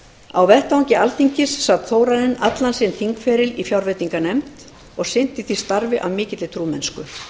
á vettvangi alþingis sat þórarinn allan sinn þingferil í fjárveitinganefnd og sinnti því starfi af mikilli trúmennsku